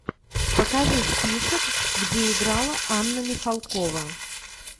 покажи список где играла анна михалкова